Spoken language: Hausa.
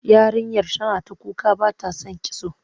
Yarinyar tana ta kuka ba ta son kitso.